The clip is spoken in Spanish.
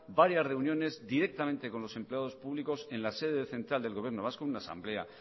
varias reuniones directamente con los empleados públicos en la sede central del gobierno vasco en la asamblea